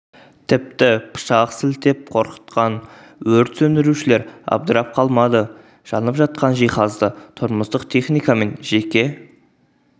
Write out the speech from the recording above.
тіпті пышақ сілтеп қорқытқан өрт сөндірушілер абдырап қалмады жанып жатқан жиһазды тұрмыстық техника мен жеке